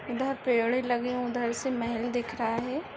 इधर पेड़ लगे उधर से महल दिख रहा है।